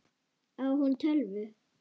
Á hún tölvu?